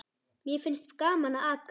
Mér finnst gaman að aka.